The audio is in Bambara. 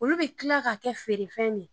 Olu bɛ tila ka kɛ feerefɛn de